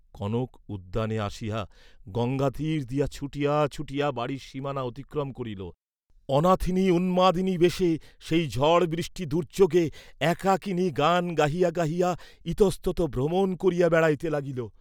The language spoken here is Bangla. কনক উদ্যানে আসিয়া গঙ্গাতীর দিয়া ছুটিয়া ছুটিয়া বাড়ীর সীমানা অতিক্রম করিল; অনাথিনী উন্মাদিনীবেশে সেই ঝড় বৃষ্টি দুর্য্যোগে একাকিনী গান গাহিয়া গাহিয়া ইতস্ততঃ ভ্রমণ করিয়া বেড়াইতে লাগিল।